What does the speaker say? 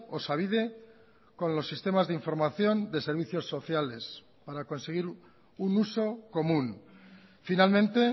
osabide con los sistemas de información de servicios sociales para conseguir un uso común finalmente